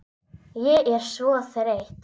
Ég er svo þreytt